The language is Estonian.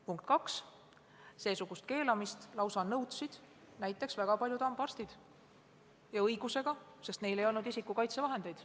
Teiseks, väga paljud hambaarstid lausa nõudsid seesugust keelamist ja tegid seda õigusega, sest neil ei olnud isikukaitsevahendeid.